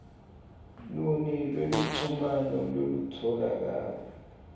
luni lweluchumano lolutfolakala